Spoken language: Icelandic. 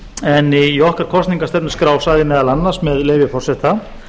en í okkar kosningastefnuskrá sagði meðal annars með leyfi forseta